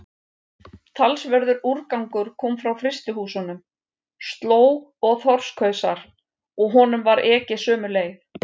Talsverður úrgangur kom frá frystihúsunum, slóg og þorskhausar, og honum var ekið sömu leið.